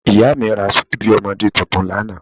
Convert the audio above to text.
Ìyá mi ra ṣíbí ọmọdé tuntun lánàá